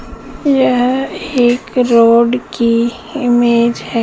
यह एक रोड की इमेज है।